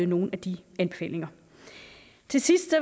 nogle af de anbefalinger til sidst